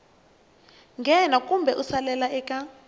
nghena kumbe ku salela eka